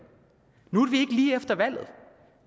nu er vi lige efter valget